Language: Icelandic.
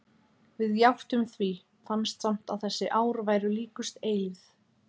Við játtum því, fannst samt að þessi ár væru líkust eilífð.